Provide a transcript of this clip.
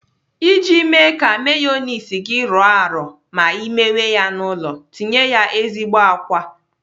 Iji mee ka meyoniz gi rọọ arọ ma ị mewe ya n'ụlọ, tinye ya ezigbo àkwá.